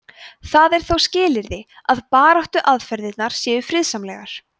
það er þó skilyrði að baráttuaðferðirnar séu friðsamlegar